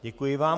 Děkuji vám.